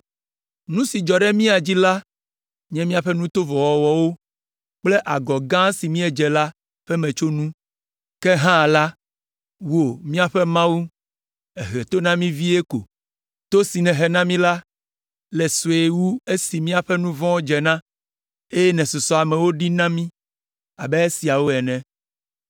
“Nu si dzɔ ɖe mia dzi la nye míaƒe nu tovo wɔwɔwo kple agɔ gã si míedze la ƒe metsonu. Ke hã la, wò, míaƒe Mawu, èhe to na mí vie ko. To si nèhe na mí la le sue wu esi míaƒe nu vɔ̃wo dze na, eye nèsusɔ amewo ɖi na mí abe esiawo ene.